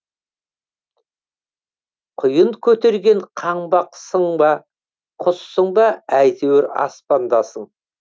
құйын көтерген қаңбақсың ба құссың ба әйтеуір аспандасың